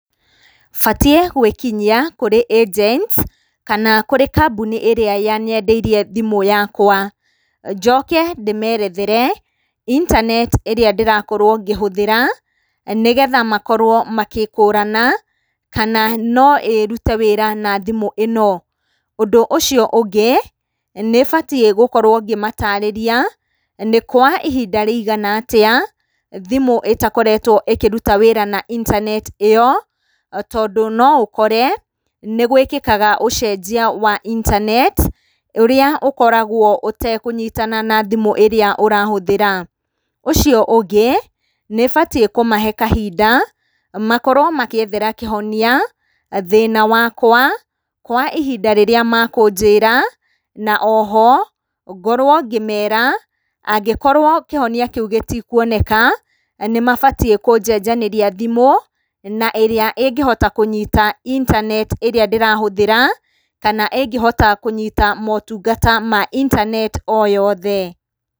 Batiĩ gwĩkinyia kũrĩ agents kana kũrĩ kambuni ĩrĩa yanyendeirie thimũ yakwa. Njoke ndĩmerethere internet ĩrĩa ndĩrakorwo ngĩhũthĩra, nĩgetha makorwo magĩkũrana kana no ĩrute wĩra na thimũ ĩno. Ũndũ ũcio ũngĩ nĩbatiĩ gũkorwo ngĩmatarĩria nĩ kwa ihinda rĩigana atĩa thimũ ĩtakoretwo ĩkĩruta wĩra na internet ĩyo, tondũ no ũkore nĩgwĩkĩkaga ũcenjia wa internet ũrĩa ũkoragwo ũtekũnyitana na thimũ ĩrĩa ũrahũthĩra. Ũcio ũngĩ nĩbatiĩ kũmahe kahinda makorwo magĩethera kĩhonia thĩna wakwa kwa ihinda rĩrĩa makũnjĩra. Na oho ngorwo ngĩmera angĩkorwo kĩhonia kĩu gĩtikuoneka nĩmabatiĩ kũnjenjanĩria thimũ na ĩrĩa ĩngĩhota kũnyita internet ĩrĩa ndĩrahũthĩra, kana ĩngĩhota kũnyita motungata ma internet o yothe.